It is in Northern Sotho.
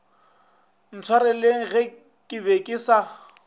ntshwareleng ke be ke sa